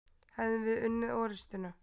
Hefðum við unnið orustuna?